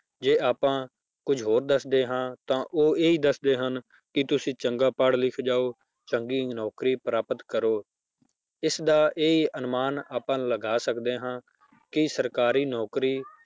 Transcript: ਜੇ ਆਪਾਂ ਕੁੱਝ ਹੋਰ ਦੱਸਦੇ ਹਾਂ ਤਾਂ ਉਹ ਇਹ ਦੱਸਦੇ ਹਨ ਕਿ ਤੁਸੀਂ ਚੰਗਾ ਪੜ੍ਹ ਲਿਖ ਜਾਓ ਚੰਗੀ ਨੌਕਰੀ ਪ੍ਰਾਪਤ ਕਰੋ, ਇਸਦਾ ਇਹ ਅਨੁਮਾਨ ਆਪਾਂ ਲਗਾ ਸਕਦੇ ਹਾਂ ਕਿ ਸਰਕਾਰੀ ਨੌਕਰੀ